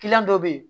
dɔ bɛ yen